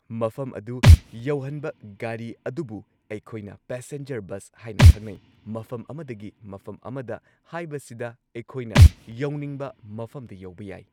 ꯃꯐꯝ ꯑꯗꯨ ꯌꯧꯍꯟꯕ ꯒꯥꯔꯤ ꯑꯗꯨꯕꯨ ꯑꯩꯈꯣꯏꯅ ꯄꯦꯁꯦꯟꯖꯔ ꯕꯁ ꯍꯥꯏꯅ ꯈꯪꯅꯩ ꯃꯐꯝ ꯑꯃꯗꯒꯤ ꯃꯐꯝ ꯑꯃꯗ ꯍꯥꯏꯕꯁꯤꯗ ꯑꯩꯈꯣꯏꯅ ꯌꯧꯅꯤꯡꯕ ꯃꯐꯝꯗ ꯌꯧꯕ ꯌꯥꯏ꯫